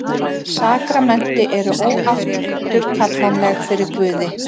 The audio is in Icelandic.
Sakramenti eru óafturkallanleg fyrir Guði.